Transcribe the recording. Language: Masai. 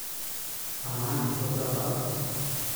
Amaa, itodua bafu?